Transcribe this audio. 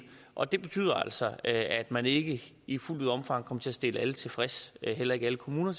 og det betyder altså at man ikke i fuldt omfang kommer til at stille alle tilfreds heller ikke alle kommuner